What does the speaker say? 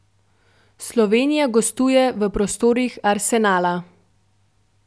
Slovenija gostuje v prostorih Arsenala.